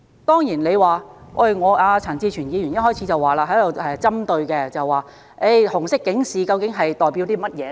當然，陳志全議員一開始便針對紅色警示，問它究竟代表甚麼？